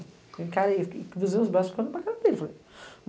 Eu encarei, cruzei os braços e fiquei olhando para a cara dele.